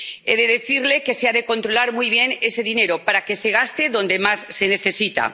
He de decirle que se ha de controlar muy bien ese dinero para que se gaste donde más se necesita.